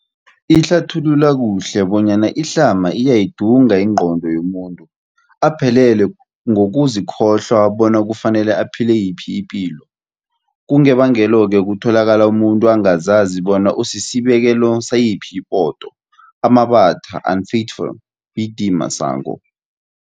Ihlathulula kuhle bonyana ihlama iyayidunga ingqondo yomuntu, aphelele ngokuzikholwa bona kufanele aphile yiphi ipilo. Kungebangelo-ke kutholakala umuntu angazazi bona usisibekelo sayiphi ipoto. Amabatha, unfaithful, B.D Masango.